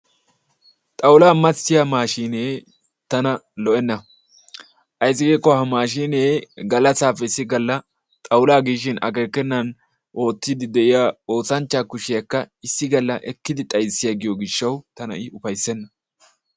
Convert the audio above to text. Xaawulla massiyaa maashinne tanna lo'enna ayssi giikko ha maashinne galassappe issi galla xaawulla giishin akekenaani oottidi de'iyaa oosanchchaa kushiyaakka issi galla ekidi xayssiagiyo gishawu tana i ufayssena.